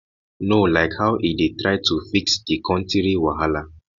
no like how e dey try to fix di kontiri wahala